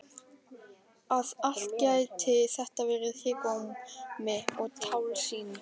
Að allt gæti þetta verið hégómi og tálsýn!